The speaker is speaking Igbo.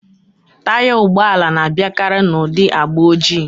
Taya ụgbọala na-abịakari n'ụdị agba ojii